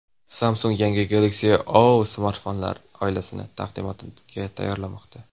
Samsung yangi Galaxy O smartfonlar oilasini taqdimotga tayyorlamoqda.